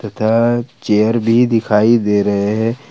Chair भी दिखाई दे रहे हैं।